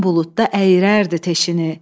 gün buludda əyirərdi teşini.